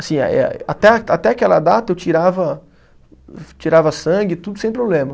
Assim eh eh, até a, até aquela data eu tirava sangue, tudo sem problema.